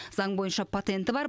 заң бойынша патенті бар